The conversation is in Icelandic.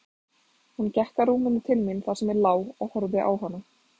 Hún gekk að rúminu til mín þar sem ég lá og horfði á hana.